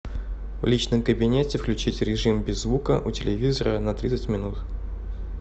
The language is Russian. в личном кабинете включить режим без звука у телевизора на тридцать минут